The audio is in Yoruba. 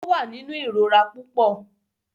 Ó wà nínú ìrora púpọ.